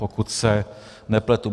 Pokud se nepletu.